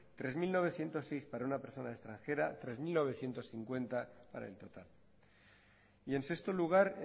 tres mil novecientos seis para una persona extranjera tres mil novecientos cincuenta para el total y en sexto lugar